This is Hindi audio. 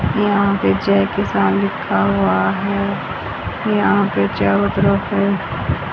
यहां पे जय किसान लिखा हुआ है यहां पे चारों तरफ है।